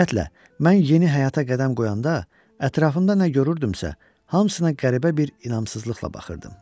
Ümumiyyətlə, mən yeni həyata qədəm qoyanda ətrafımda nə görürdümsə, hamısına qəribə bir inamsızlıqla baxırdım.